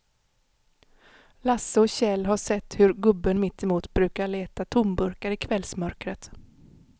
Lasse och Kjell har sett hur gubben mittemot brukar leta tomburkar i kvällsmörkret.